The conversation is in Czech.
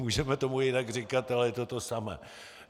Můžeme tomu jinak říkat, ale je to to samé.